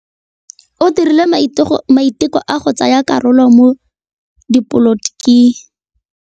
O dirile maitekô a go tsaya karolo mo dipolotiking.